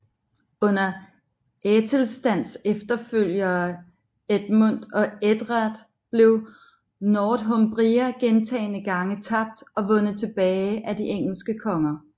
Under Æthelstans efterfølgere Edmund og Edred blev Northumbria gentagne gange tabt og vundet tilbage af de engelske konger